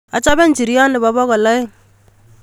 Achobe ijiryot nebo bokol aeng